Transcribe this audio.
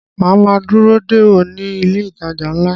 Màá ma dúró dè ọ́ ní ilé ìtajà ńlá